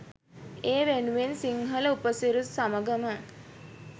ඒ වෙනුවෙන් සිංහල උපසිරැසි සමඟම